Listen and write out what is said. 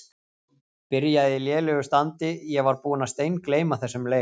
Byrjaði í lélegu standi Ég var búinn að steingleyma þessum leik.